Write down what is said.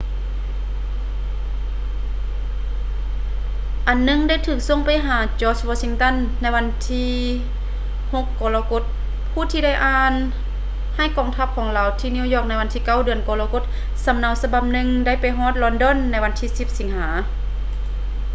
ອັນໜຶ່ງໄດ້ຖືກສົ່ງໄປຫາ george washington ໃນວັນທີ 6 ກໍລະກົດ ຜູ້ທີ່ໄດ້ອ່ານໃຫ້ກອງທັບຂອງລາວທີ່ນິວຢອກໃນວັນທີ 9 ເດືອນກໍລະກົດ ສຳເນົາສະບັບໜຶ່ງໄດ້ໄປຮອດລອນດອນໃນວັນທີ 10 ສິງຫາ